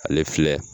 Ale filɛ